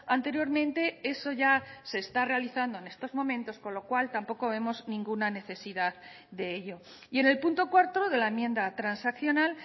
anteriormente eso ya se está realizando en estos momentos con lo cual tampoco vemos ninguna necesidad de ello y en el punto cuarto de la enmienda transaccional